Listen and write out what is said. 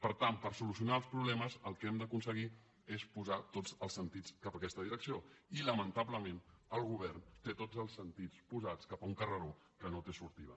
per tant per solucionar els problemes el que hem d’aconseguir és posar tots els sentits en aquesta direcció i lamentablement el govern té tots els sentits posats en un carreró que no té sortida